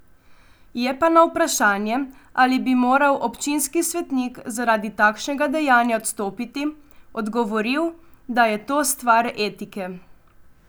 Je pa na vprašanje, ali bi moral občinskih svetnik zaradi takšnega dejanja odstopiti, odgovoril, da je to stvar etike.